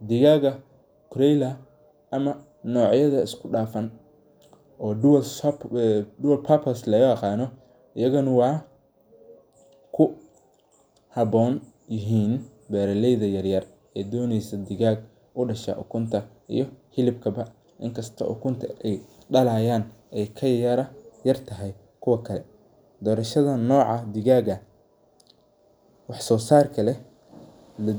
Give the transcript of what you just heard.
digaaga cs]broiler ama nocyada isku dhafan dual purpose loo yaqaano ayagana waxay ku haboon yihiin beeraleyda yar yar ee doneyso digaag udhasho ukunta iyo hilibka ba inkasto ukunta aya dhalayaan ay kayartahay kuwa kale doorashada noca digaaga wax soo saarka leh waa muhiim